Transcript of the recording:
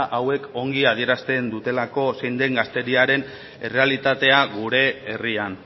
hauek ongi adierazten dutelako zein den gazteriaren errealitatea gure herrian